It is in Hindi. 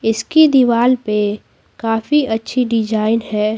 इसकी दीवार पे काफी अच्छी डिजाइन है।